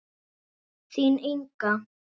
Þín, Inga.